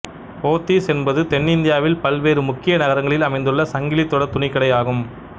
போத்தீஸ் என்பது தென்னிந்தியாவில் பல்வேறு முக்கிய நகரங்களில் அமைந்துள்ள சங்கிலித் தொடர் துணிக்கடை ஆகும்